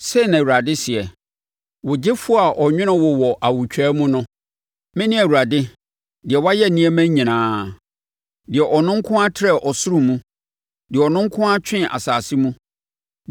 “Sei na Awurade seɛ, wo Gyefoɔ a ɔnwonoo wo wɔ awotwaa mu no: “Mene Awurade, deɛ wayɛ nneɛma nyinaa, deɛ ɔno nko ara trɛɛ ɔsoro mu deɛ ɔno nko ara twee asase mu,